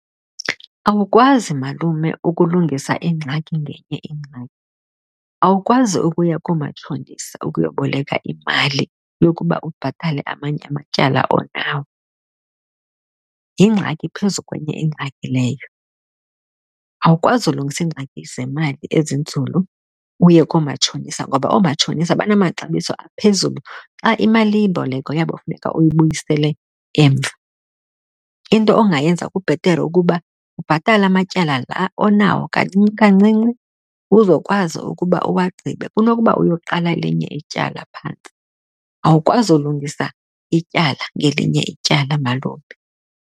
Aukwazi, malume, ukulungisa ingxaki ngenye ingxaki. Awukwazi ukuya koomatshonisa ukuyoboleka imali yokuba ubhatale amanye amatyala onawo. Yingxaki phezu kwenye ingxaki leyo. Awukwazi ulungisa iingxaki zemali ezinzulu uye koomatshonisa ngoba oomatshonisa banamaxabiso aphezulu xa imalimboleko yabo funeka uyibuyisele emva. Into ongayenza kubhetere ukuba ubhatale amatyala laa onawo kancinci, kancinci uzokwazi ukuba uwagqibe kunokuba uyoqala elinye ityala phantsi. Awukwazi ulungisa ityala ngelinye ityala, malume.